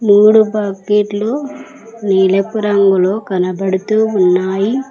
మూడు బకెట్లు నీలపు రంగులో కనబడుతూ ఉన్నాయి.